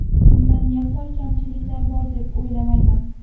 Unda yaqqol kamchiliklar bor deb o‘ylamayman.